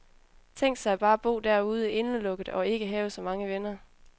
Tænk sig bare bo derude, indelukket og ikke have så mange venner.